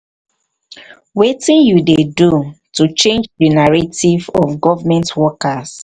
wetin you dey do to change di narrative of government workes?